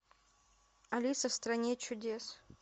алиса в стране чудес